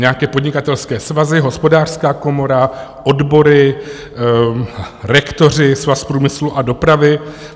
Nějaké podnikatelské svazy, Hospodářská komora, odbory, rektoři, Svaz průmyslu a dopravy?